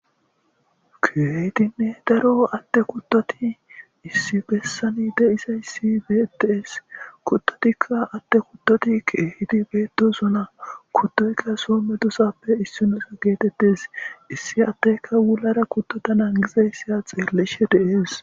Kehidinne daro ade kutoti issi besani detes kutoti kehippe betosona kutoyika so medosatappe isuwa getes issi adeka kutotaka hara krtota nagidaysi ha xelishe des